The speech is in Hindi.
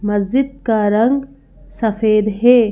मस्जिद का रंग सफेद है।